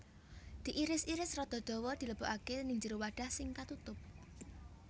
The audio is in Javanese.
Diiris iris rada dawa dilebokaké nèng jero wadah sing katutup